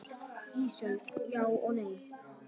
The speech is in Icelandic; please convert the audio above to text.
Ísold: Já og nei.